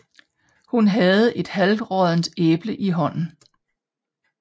Hun havde et halvråddent æble i hånden